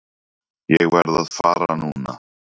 Ég verð að fara núna!